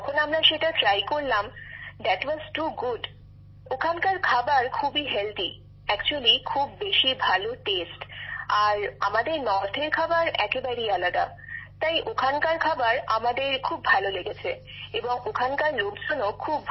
যখন আমরা সেটা মুখে তুললাম আমাদের দারুণ লেগেছিল ওখানকার খাবার খুবই স্বাস্থ্যকর আসলে দারুন স্বাদের খাবার আর আমাদের উত্তর ভারতের খাবারের থেকে একেবারেই আলাদা তাই ওখানকার খাবার আমাদের খুব ভালো লেগেছে এবং ওখানকার লোকজনও খুব ভালো